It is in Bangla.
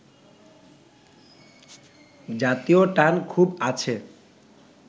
জাতীয় টান খুব আছে